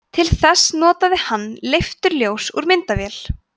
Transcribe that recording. til þess notaði hann leifturljós úr myndavél